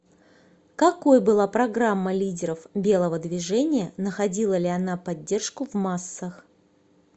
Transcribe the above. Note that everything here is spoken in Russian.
какой была программа лидеров белого движения находила ли она поддержку в массах